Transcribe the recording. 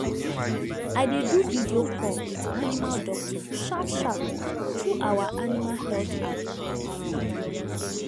i dey do video call with animal doctor sharpsharp through our animal health app um